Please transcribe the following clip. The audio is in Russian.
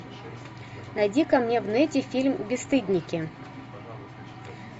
найди ка мне в нете фильм бесстыдники